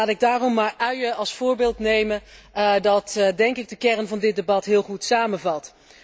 Laat ik daarom maar uien als voorbeeld nemen, dat denk ik de kern van dit debat heel goed samenvat.